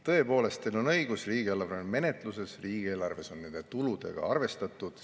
Tõepoolest, teil on õigus: riigieelarve on menetluses, riigieelarves on nende tuludega arvestatud.